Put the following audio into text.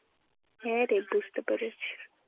হ্যাঁরে, বুঝতে পেরেছি।